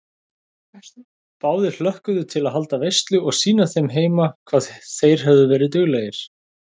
Báðir hlökkuðu til að halda veislu og sýna þeim heima hvað þeir höfðu verið duglegir.